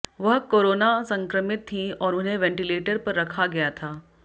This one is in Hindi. वह कोरोना संक्रमित थीं और उन्हें वेंटीलेटर पर रखा गया था